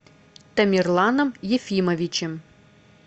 тамерланом ефимовичем